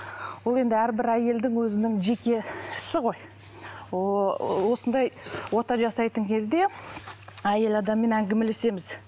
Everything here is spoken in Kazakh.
ол енді әрбір әйелдің өзінің жеке ісі ғой осындай ота жасайтын кезде әйел адаммен әңгімелесеміз